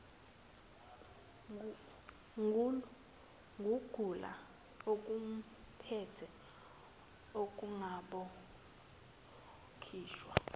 kugula okumphethe ungabowakhohlwa